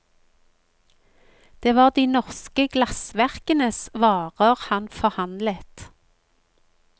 Det var de norske glassverkenes varer han forhandlet.